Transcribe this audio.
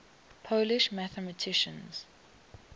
polish mathematicians